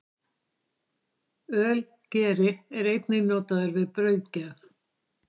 Ölgeri er einnig notaður við brauðgerð.